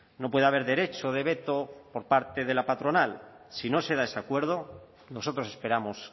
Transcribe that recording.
no puede haber derecho de veto por parte de la patronal si no se da ese acuerdo nosotros esperamos